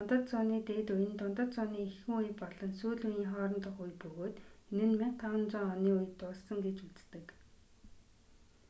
дундад зууны дээд үе нь дундад зууны эхэн үе болон сүүл үеийн хоорондох үе бөгөөд энэ нь 1500 оны үед дууссан гэж үздэг